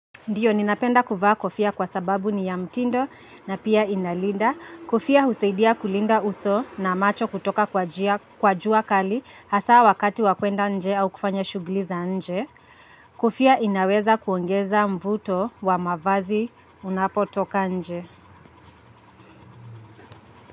Ndiyo, ninapenda kuvaa kofia kwa sababu ni ya mtindo na pia inalinda. Kofia husaidia kulinda uso na macho kutoka kwa jua kali hasa wakati wa kwenda nje au kufanya shughuli za nje. Kofia inaweza kuongeza mvuto wa mavazi unapo toka nje.